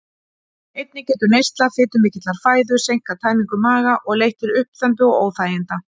Einnig getur neysla fitumikillar fæðu seinkað tæmingu maga og leitt til uppþembu og óþæginda.